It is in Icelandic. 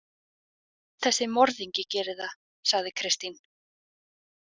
Þessi morðingi gerir það, sagði Kristín.